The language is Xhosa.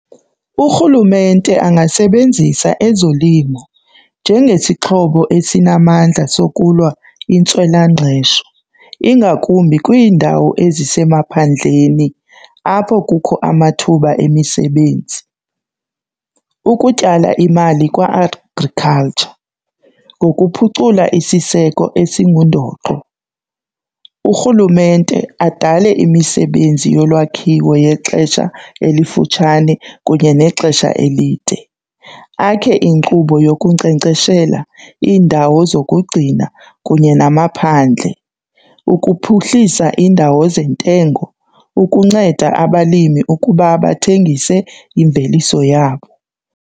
URhulumente angasebenzisa ezolimo njengesixhobo esinamandla sokulwa intswelangqesho ingakumbi kwiindawo ezisemaphandleni apho kukho amathuba emisebenzi ukutyala imali kwa-agriculture ngokuphucula isiseko esingundoqo. URhulumente adale imisebenzi yolwakhiwo yexesha elifutshane kunye nexesha elide akhe inkqubo yokunkcenkceshela, iindawo zokugcina kunye namaphandle ukuphuhlisa indawo zentengiso ukunceda abalimi ukuba bathengise imveliso yabo.